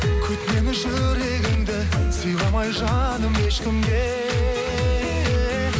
күт мені жүрегіңді сыйламай жаным ешкімге